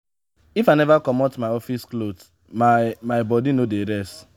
if i neva comot my office cloth my my bodi no dey rest.